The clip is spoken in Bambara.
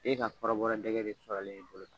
E ka kɔbɔrɔ dɛgɛ de sɔrɔlen yen i bolo tan